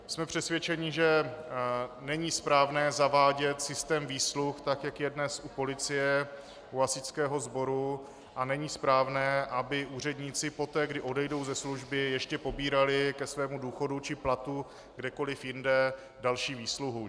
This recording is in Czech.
Jsme přesvědčeni, že není správné zavádět systém výsluh tak, jak je dnes u policie, u hasičského sboru, a není správné, aby úředníci poté, kdy odejdou ze služby, ještě pobírali ke svému důchodu či platu kdekoli jinde další výsluhu.